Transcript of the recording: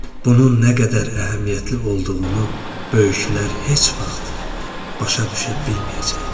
Bunun nə qədər əhəmiyyətli olduğunu böyüklər heç vaxt başa düşə bilməyəcəklər.